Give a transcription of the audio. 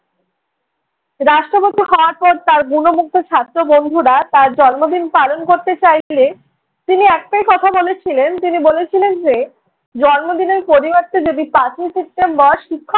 রাষ্ট্রপতি হওয়ার পর তাঁর গুণমুগ্ধ ছাত্র বন্ধুরা তাঁর জন্মদিন পালন করতে চাইলে তিনি একটাই কথা বলেছিলেন, তিনি বলেছিলেন যে জন্মদিনের পরিবর্তে যদি পাঁচই সেপ্টেম্বর শিক্ষক